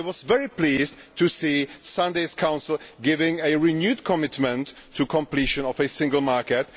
I was very pleased to see Sunday's Council giving a renewed commitment to completion of a single market.